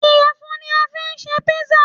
Iyẹfun ní a fí n ṣe písà